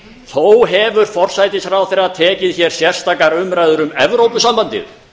þó hefur forsætisráðherra tekið hér sérstakar umræður um evrópusambandið